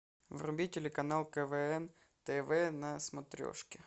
вруби телеканал квн тв на смотрешке